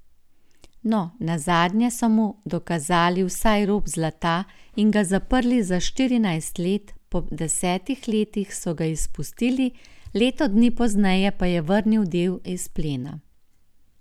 No, nazadnje so mu dokazali vsaj rop zlata in ga zaprli za štirinajst let, po desetih letih so ga izpustili, leto dni pozneje pa je vrnil del izplena.